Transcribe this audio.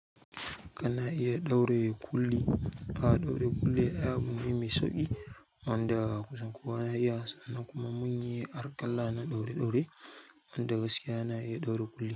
Kana iya ɗaure kulli. A'a ɗaure kulli ai abune mai sauƙi wanda kusan kowa ya iya, sannan kuma munyi arkalla na ɗaure ɗaure wanda gaskiya na iya ɗaure kulli.